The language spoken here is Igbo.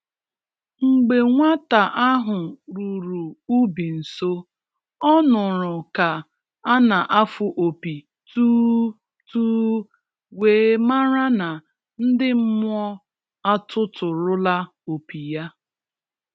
Mgbe nwa-ta ahụ ruru ubi nso, o nụrụ ka a na-afụ opi tuu, tuu, wee mara na ndị mmụọ atụtụrụla opi ya.